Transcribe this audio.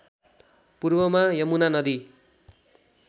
पूर्वमा यमुना नदी